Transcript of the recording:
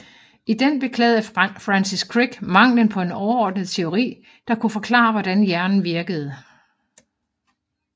I den beklagede Francis Crick manglen på en overordnet teori der kunne forklare hvordan hjernen virkede